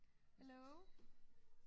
Hello